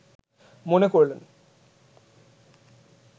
মনে করলেন